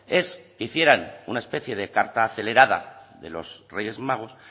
es que hicieran una especie de carta acelerada de los reyes magos